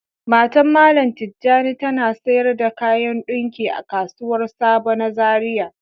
Matan mallam tijani ta na sayar da kayan ɗunki a kasuwan sabo na zaria.